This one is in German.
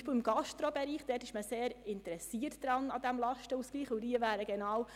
Beispielsweise in der Gastronomiebranche ist man sehr an einem Lastenausgleich interessiert.